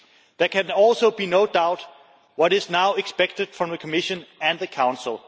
There can also be no doubt on what is now expected from the Commission and the Council.